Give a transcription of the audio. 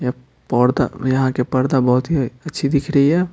यह पौर्दा यहां के पर्दा बहुत ही अच्छी दिख रही है।